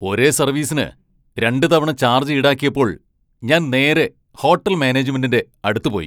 ഒരേ സർവീസിന് രണ്ട് തവണ ചാർജ് ഈടാക്കിയപ്പോൾ ഞാൻ നേരെ ഹോട്ടൽ മാനേജ്മെന്റിന്റെ അടുത്ത് പോയി.